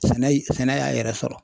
Sɛnɛ yi sɛnɛ y'a yɛrɛ sɔrɔ.